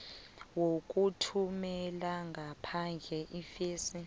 yokuthumela ngaphandle iimfesi